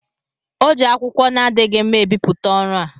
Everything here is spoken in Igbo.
o ji akwụkwọ na-adịghị mma ebipụta ọrụ a.